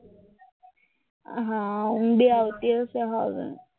આ ઊંઘ બી આવતી હશે